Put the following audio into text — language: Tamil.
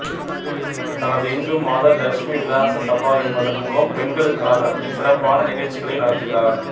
தனது இந்து மாதர் லட்சுமி விலாச சபா என்பதின் மூலம் பெண்களுக்காக சிறப்பான நிகழ்ச்சிகளை நடத்துகிறார்